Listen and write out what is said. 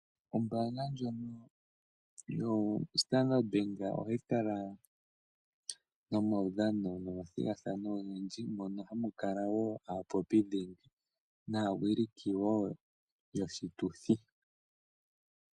Ombaanga ndjono yoStandard Bank, ohayi kala nomathigathano gomaudhano ogendji ,mono hamu kala wo aapopi dhingi naawiliko wo yoshituthi.